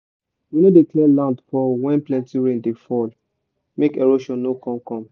we no dey clear land for when plenty rain dey fall make erosion no con come